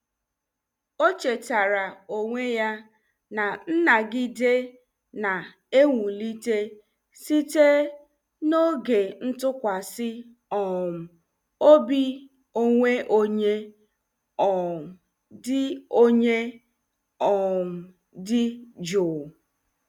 O chetaara onwe ya na nnagide na-ewulite site n'oge ntụkwasị um obi onwe onye um dị onye um dị jụụ.